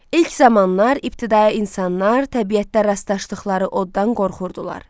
İlk zamanlar ibtidai insanlar təbiətdə rastlaşdıqları oddan qorxurdular.